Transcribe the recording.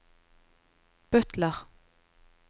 butler